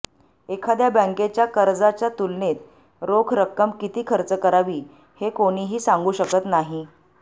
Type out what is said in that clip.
एखाद्या बँकेच्या कर्जाच्या तुलनेत रोख रक्कम किती खर्च करावी हे कोणीही सांगू शकत नाही